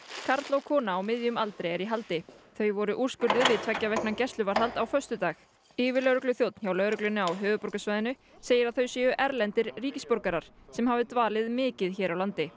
karl og kona á miðjum aldri eru í haldi þau voru úrskurðuð í tveggja vikna gæsluvarðhald á föstudag yfirlögregluþjónn hjá lögreglunni á höfuðborgarsvæðinu segir að þau séu erlendir ríkisborgarar sem hafi dvalið mikið hér á landi